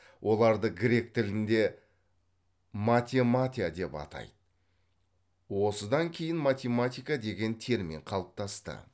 оларды грек тілінде математя деп атайды осыдан кейін математика деген термин қалыптасты